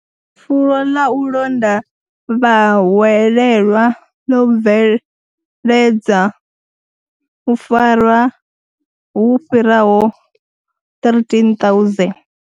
Fulo ḽa u londa vhahwelelwa ḽo bveledza, u farwa hu fhiraho 13,000.